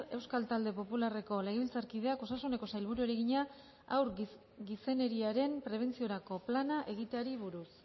euskal talde popularreko legebiltzarkideak osasuneko sailburuari egina haur gizeneriaren prebentziorako plana egiteari buruz